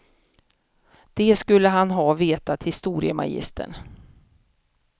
Det skulle han ha vetat, historiemagistern.